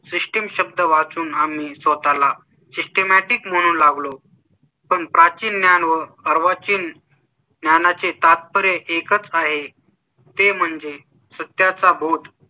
system शब्द वाचून आम्ही स्वतः ला systematic म्हणून लागलो. पण प्राचीन ज्ञान व अर्वाचीन ज्ञाना चे तात्पर्य एकच आहे ते म्हणजे सत्या चा बोध.